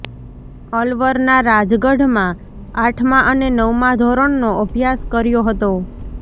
અલવરના રાજગઢમાં આઠમા અને નવમા ધોરણનો અભ્યાસ કર્યો હતો